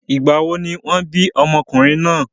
Ìgbà wo ni wọ́n bí ọmọkùnrin náà?